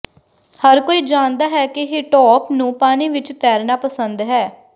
ਹਰ ਕੋਈ ਜਾਣਦਾ ਹੈ ਕਿ ਹਿਟੋਪ ਨੂੰ ਪਾਣੀ ਵਿੱਚ ਤੈਰਨਾ ਪਸੰਦ ਹੈ